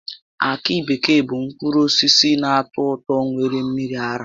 Akị bekee bụ mkpụrụ osisi na-atọ ụtọ nwere mmiri ara